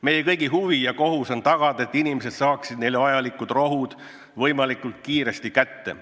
Meie kõigi huvi ja kohus on tagada, et inimesed saaksid neile vajalikud rohud võimalikult kiiresti kätte.